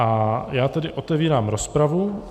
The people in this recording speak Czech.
A já tedy otevírám rozpravu.